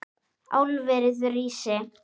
Álverið rísi!